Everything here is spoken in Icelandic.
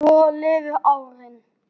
Svo liðu árin.